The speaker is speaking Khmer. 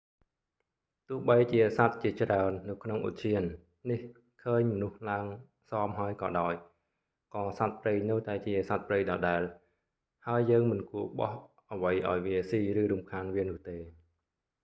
ទោះបីជាសត្វជាច្រើននៅក្នុងឧទ្យាននេះឃើញមនុស្សឡើងស៊ាំហើយក៏ដោយ ក៏សត្វព្រៃនៅតែជាសត្វព្រៃដដែល ហើយយើងមិនគួរបោះអ្វីឲ្យវាស៊ីឬរំខានវានោះទេ